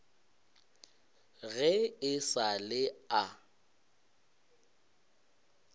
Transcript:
ge e sa le a